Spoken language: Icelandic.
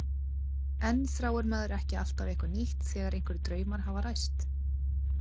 En þráir maður ekki alltaf eitthvað nýtt þegar einhverjir draumar hafa ræst?